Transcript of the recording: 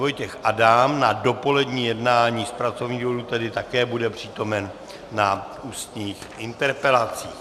Vojtěch Adam na dopolední jednání z pracovních důvodů, tedy také bude přítomen na ústních interpelacích.